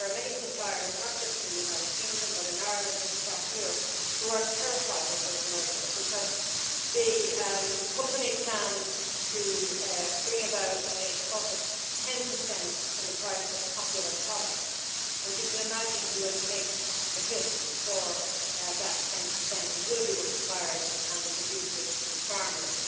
But there are many suppliers, not just in the United Kingdom but in Ireland and across Europe, who are terrified of this merger because the company plans to bring about a cut of 10 in the price of popular products and you can imagine who will take the hit for that 10 it will be the suppliers and the producers and farmers.